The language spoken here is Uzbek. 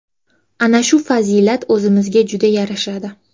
Ana shu fazilat o‘zimizga juda yarashadi.